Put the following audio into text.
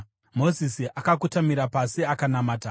Mozisi akakotamira pasi akanamata.